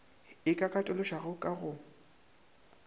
e ka katološwago ka go